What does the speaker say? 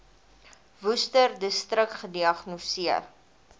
worcesterdistrik gediagnoseer